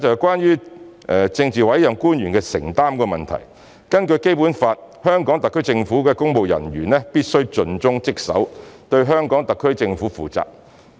關於政治委任官員的承擔問題，根據《基本法》，香港特區政府公務人員必須盡忠職守，對香港特區政府負責。